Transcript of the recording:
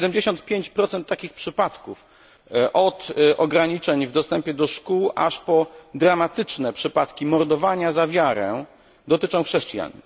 75 takich przypadków od ograniczeń w dostępie do szkół aż po dramatyczne przypadki mordowania za wiarę dotyczą chrześcijan.